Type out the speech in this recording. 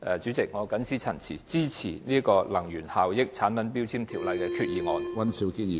主席，我謹此陳辭，支持根據《能源效益條例》動議的擬議決議案。